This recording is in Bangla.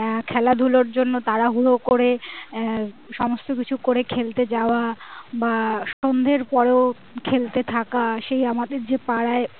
আহ খেলাধুলোর জন্য তাড়াহুড়ো করে আহ সমস্ত কিছু করে খেলতে যাওয়া বা সন্ধ্যের পরেও খেলতে থাকা সেই আমাদের যে পাড়ায় আহ